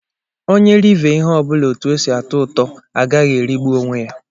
Onye rive ihe ọbụla otu ọ sị atọ ụtọ aghaghị irigbu onwe ya.